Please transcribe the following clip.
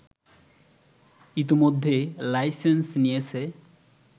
ইতোমধ্যে লাইসেন্স নিয়েছে